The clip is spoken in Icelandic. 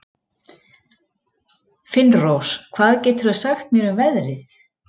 Finnrós, hvað geturðu sagt mér um veðrið?